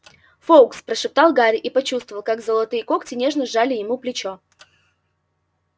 фоукс прошептал гарри и почувствовал как золотые когти нежно сжали ему плечо